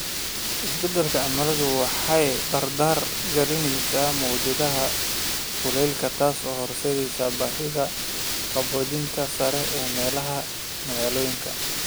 Isbeddelka cimiladu waxay dardar gelinaysaa mowjadaha kulaylka, taasoo horseedaysa baahida qaboojinta sare ee meelaha magaalooyinka.